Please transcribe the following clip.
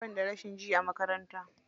Banda rashin jin a makaranta.